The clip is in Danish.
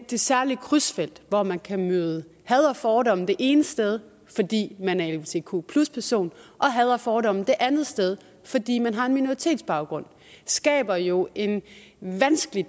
det særlige krydsfelt hvor man kan møde had og fordomme det ene sted fordi man er lgbtq person og had og fordomme det andet sted fordi man har en minoritetsbaggrund skaber jo en vanskelig